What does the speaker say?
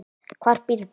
Hvar býrðu?